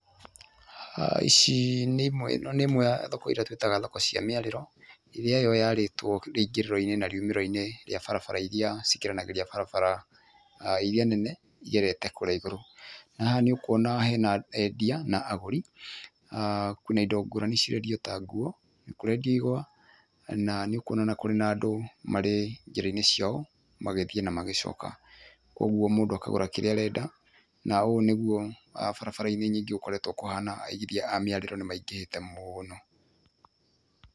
Haha ici nĩ imwe ĩno nĩ ĩmwe ya thoko ĩrĩa twĩtaga thoko cia mĩarĩro ĩría yo yarĩtwo rĩingĩrĩro-inĩ na riumĩrĩro-inĩ rĩa barabara iria cikĩranagĩria barabara aa iria nene igerete kũrĩa igũrũ, na haha nĩũkũona ho hena endia na agũri kwĩna indo ngũrani cirendio ta nguo, nĩkũrendio ihũa nanĩũkuona kũrĩ na andũ marĩ njĩra-inĩ ciao magĩthiĩ na magĩcoka ũguo mũndũ akagũra kĩrĩa arenda na ũũ nĩguo a barabara-inĩ nyingĩ gũkoretwo kũhana aigithia a mĩarĩro nĩmaingĩhĩte mũno.